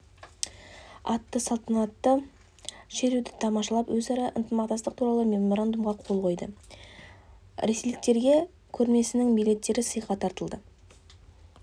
атты салтанатты шеруді тамашалап өзара ынтымақтастық туралы меморандумға қол қойды ресейліктерге көрмесінің билеттері сыйға тартылды